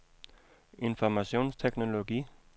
informationsteknologi